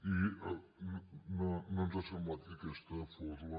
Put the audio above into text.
i no ens ha semblat que aquesta fos la